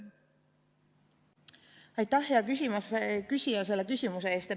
Aitäh, hea küsija, selle küsimuse eest!